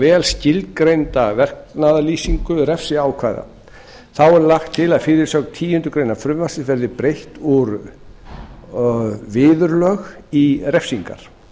vel skilgreinda verknaðarlýsingu refsiákvæða þá er lagt til að fyrirsögn tíundu greinar frumvarpsins verði breytt úr viðurlög í refsingar